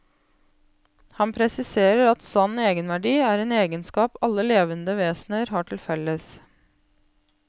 Han presiserer at sann egenverdi er en egenskap alle levende vesener har til felles.